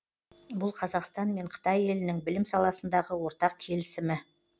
бұл қазақстан мен қытай елінің білім саласындағы ортақ келісімі